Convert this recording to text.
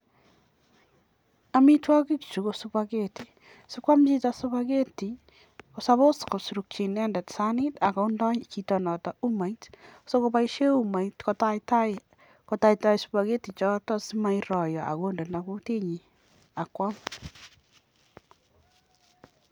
amitwagii chuu kosupagetii yacheii kopaisheen umait yaaamishee chichotok